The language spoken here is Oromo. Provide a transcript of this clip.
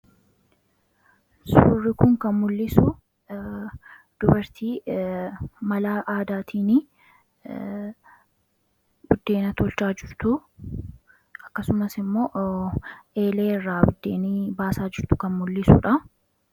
Suurri kun kan mul'isu dubartii mala aadaatiin buddeena tolchaa jirtu akkasumas immoo eeleerraa buddeena baasaa jirtu kan mul'isaa jirudha.